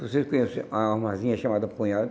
Vocês conhecem a armazinha chamada punhal?